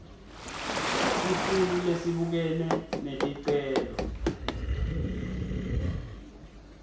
sikhulu lesibukene neticelo